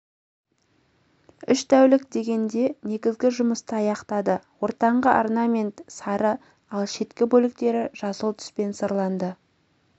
үш тәулік дегенде негізгі жұмысты аяқтады ортаңғы орнамент сары ал шеткі бөліктері жасыл түспен сырланды